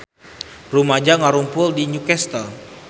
Rumaja ngarumpul di Newcastle